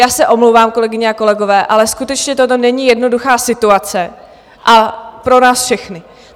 Já se omlouvám, kolegyně a kolegové, ale skutečně toto není jednoduchá situace - a pro nás všechny.